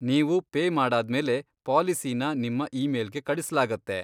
ನೀವು ಪೇ ಮಾಡಾದ್ಮೇಲೆ ಪಾಲಿಸಿನ ನಿಮ್ಮ ಇಮೇಲ್ಗೆ ಕಳಿಸ್ಲಾಗತ್ತೆ.